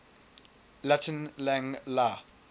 latin lang la